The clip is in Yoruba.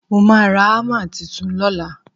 mo ma ra hammer Titun lọla